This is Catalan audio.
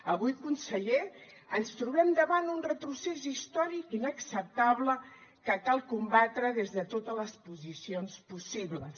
avui conseller ens trobem davant un retrocés històric inacceptable que cal combatre des de totes les posicions possibles